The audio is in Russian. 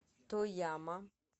тояма